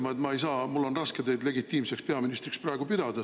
] Ma pean ka ütlema, et mul on raske teid praegu legitiimseks peaministriks pidada.